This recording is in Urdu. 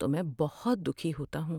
تو میں بہت دکھی ہوتا ہوں۔